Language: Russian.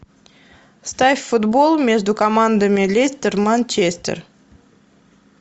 ставь футбол между командами лестер манчестер